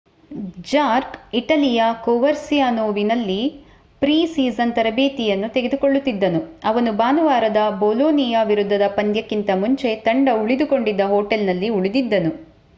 ಜಾರ್ಕ್ ಇಟಲಿಯ ಕೋವರ್ಸಿಯಾನೋವಿನಲ್ಲಿ pre season ತರಬೇತಿ ಯನ್ನು ತೆಗೆದುಕೊಳ್ಳುತ್ತಿದ್ದನು ಅವನು ಭಾನುವಾರದ ಬೋಲೋ ನಿಯಾ ವಿರುದ್ಧದ ಪಂದ್ಯಕ್ಕಿಂತ ಮುಂಚೆ ತಂಡ ಉಳಿದುಕೊಂಡಿದ್ದ ಹೊಟೇಲ್ನಲ್ಲಿ ಉಳಿದಿದ್ದನು